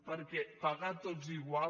perquè pagar tots igual